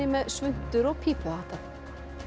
með svuntur og pípuhatta